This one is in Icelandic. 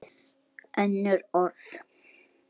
Önnur orð.